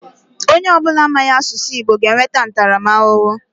Onye ọ bụla amaghị asụ asụsụ Igbo ga enweta ntaramahụhụ.